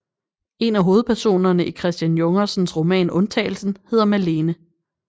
En af hovedpersonerne i Christian Jungersens roman Undtagelsen hedder Malene